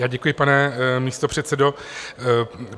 Já děkuji, pane místopředsedo.